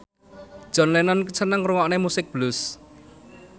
John Lennon seneng ngrungokne musik blues